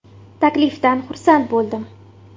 Taklifdan xursand bo‘ldim.